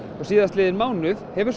síðastliðinn mánuð hefur